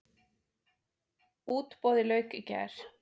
Útboði lauk í gær.